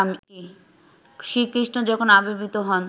শ্রীকৃষ্ণ যখন আবির্ভূত হন